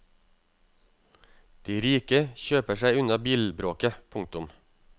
De rike kjøper seg unna bilbråket. punktum